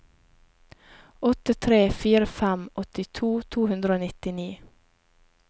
åtte tre fire fem åttito to hundre og nittini